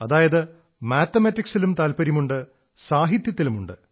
അതായത് മാത്തമാറ്റിക്സിലും താത്പര്യമുണ്ട് സാഹത്യത്തിലുമുണ്ട്